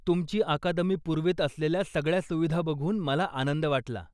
तुमची अकादमी पुरवीत असलेल्या सगळ्या सुविधा बघून मला आनंद वाटला.